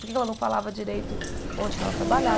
Por que é que ela não falava direito onde que ela trabalhava?